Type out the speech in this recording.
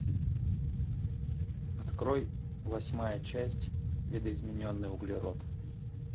открой восьмая часть видоизмененный углерод